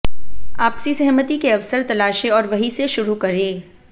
आपसी सहमति के अवसर तलाशें और वहीं से शुरू करें